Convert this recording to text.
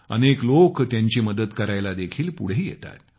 अनेक लोक त्यांची मदत करायला देखील पुढे येतात